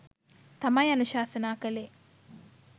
තමයි අනුශාසනා කළේ.